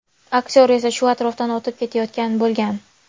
Aktyor esa shu atrofdan o‘tib ketayotgan bo‘lgan.